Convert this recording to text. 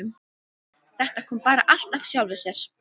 Þetta kom bara allt af sjálfu sér.